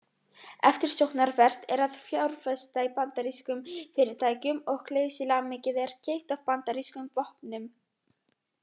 Eftirsóknarvert er að fjárfesta í bandarískum fyrirtækjum og geysilega mikið er keypt af bandarískum vopnum.